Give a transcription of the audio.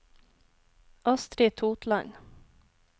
Astri Totland